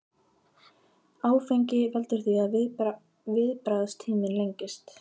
Áfengi veldur því að viðbragðstíminn lengist.